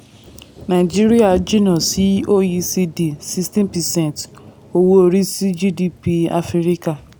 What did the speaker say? nàìjíríà jìnnà sí oecd sixteen percent owó orí sí gdp áfíríkà.